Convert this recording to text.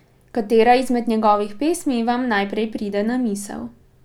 Katera izmed njegovih pesmi vam najprej pride na misel?